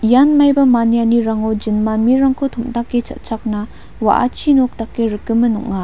ian maiba manianirango jinma mirangko tom·dake cha·chakna wa·achi nok dake rikgimin ong·a.